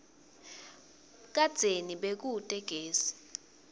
kadzeni bekute gesi